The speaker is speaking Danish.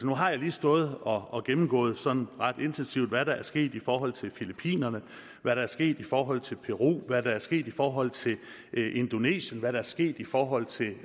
nu har jeg lige stået og gennemgået sådan ret intensivt hvad der er sket i forhold til filippinerne hvad der er sket i forhold til peru hvad der er sket i forhold til indonesien hvad der er sket i forhold til